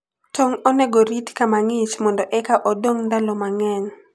tong` onego orit kama ng'ich mondo eka odong' ndalo mang'eny.